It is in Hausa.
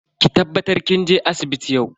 Ki tabbatar kin je asibiti yau.